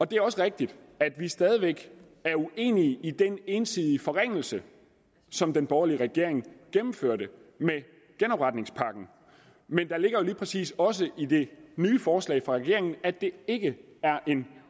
det er også rigtigt at vi stadig væk er uenige i den ensidige forringelse som den borgerlige regering gennemførte med genopretningspakken men der ligger jo lige præcis også i det nye forslag fra regeringen at det ikke er en